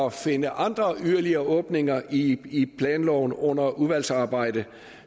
at finde andre åbninger i i planloven under udvalgsarbejdet